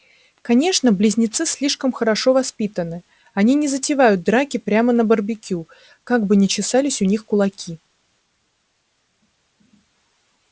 конечно близнецы слишком хорошо воспитаны они не затевают драки прямо на барбекю как бы ни чесались у них кулаки